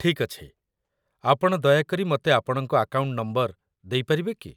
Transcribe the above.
ଠିକ୍ ଅଛି। ଆପଣ ଦୟାକରି ମତେ ଆପଣଙ୍କ ଆକାଉଣ୍ଟ ନମ୍ବର ଦେଇପାରିବେ କି?